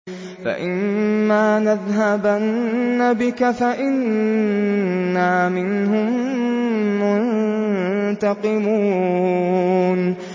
فَإِمَّا نَذْهَبَنَّ بِكَ فَإِنَّا مِنْهُم مُّنتَقِمُونَ